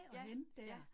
Ja, ja